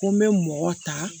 Ko n bɛ mɔgɔ ta